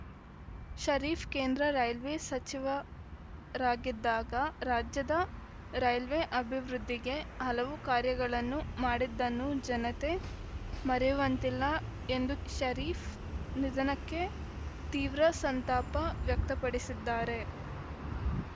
ಷರೀಫ್‌ ಕೇಂದ್ರ ರೈಲ್ವೇ ಸಚಿವರಾಗಿದ್ದಾಗ ರಾಜ್ಯದ ರೈಲ್ವೇ ಅಭಿವೃದ್ಧಿಗೆ ಹಲವು ಕಾರ್ಯಗಳನ್ನು ಮಾಡಿದ್ದನ್ನು ಜನತೆ ಮರೆಯುವಂತಿಲ್ಲ ಎಂದು ಷರೀಫ್‌ ನಿಧನಕ್ಕೆ ತೀವ್ರ ಸಂತಾಪ ವ್ಯಕ್ತಪಡಿಸಿದ್ದಾರೆ